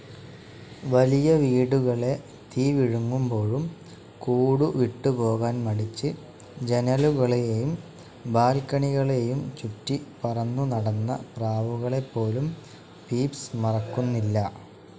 വലിയ വീടുകളെ തീ വിഴുങ്ങുമ്പോഴും കൂടു വിട്ടുപോകാൻ മടിച്ച്, ജനലുകളെയും ബാൽക്കണികളെയും ചുറ്റി പറന്നു നടന്ന പ്രാവുകളെപ്പോലും പീപ്സ്‌ മറക്കുന്നില്ല.